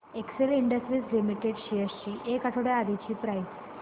Excel Industries Limited shares ची एक आठवड्या आधीची प्राइस